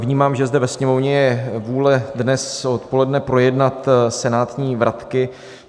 Vnímám, že zde ve Sněmovně je vůle dnes odpoledne projednat senátní vratky.